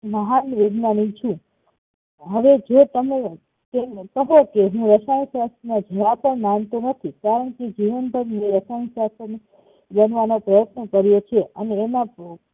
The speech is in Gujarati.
મહાનવૈજ્ઞાનિક છું હવે જો તમે તેમને કહો કે હું રસાયણ શાસ્ત્ર માં જરાપણ માનતો નથી કારણકે જીવનભર મેં રસાયણ શાસ્ત્ર ને જાણવા નો પ્રયતન કર્યો છે અને એમાં બૌ